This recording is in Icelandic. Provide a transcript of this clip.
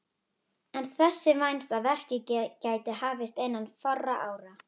Er þess vænst að verkið geti hafist innan fárra ára.